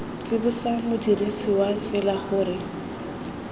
tsibosa modirisi wa tsela gore